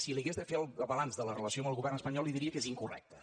si li hagués de fer el balanç de la relació amb el govern espanyol li diria que és incorrecte